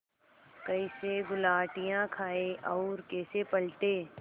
कैसे गुलाटियाँ खाएँ और कैसे पलटें